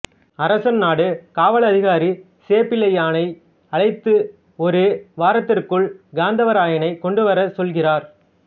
அரசன் நாடு காவலதிகாரி சேப்பிளையானை அழைத்து ஒரு வாரத்திற்குள் காத்தவராயனை கொண்டுவர சொல்கிறார்